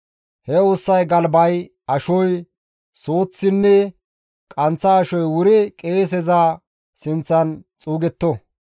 He ussay galbay, ashoy, suuththinne qanththa ashoy wuri qeeseza sinththan xuugetto.